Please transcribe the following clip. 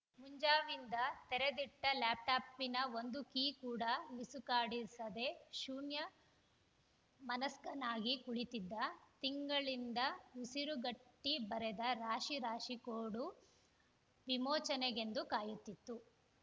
ಮುಂಜಾವಿಂದ ತೆರೆದಿಟ್ಟಲ್ಯಾಪ್‌ಟಾಪಿನ ಒಂದು ಕೀ ಕೂಡ ಮಿಸುಕಾಡಿಸದೆ ಶೂನ್ಯಮನಸ್ಕನಾಗಿ ಕುಳಿತಿದ್ದ ತಿಂಗಳಿಂದ ಉಸಿರುಗಟ್ಟಿಬರೆದ ರಾಶಿ ರಾಶಿ ಕೋಡು ವಿಮೋಚನೆಗೆಂದು ಕಾಯುತ್ತಿತ್ತು